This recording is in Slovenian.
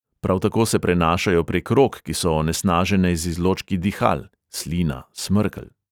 Prav tako se prenašajo prek rok, ki so onesnažene z izločki dihal (slina, smrkelj).